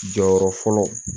Jɔyɔrɔ fɔlɔ